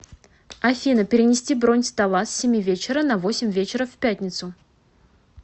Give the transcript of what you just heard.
афина перенести бронь стола с семи вечера на восемь вечера в пятницу